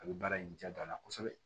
A bɛ baara in ja don a la kosɛbɛ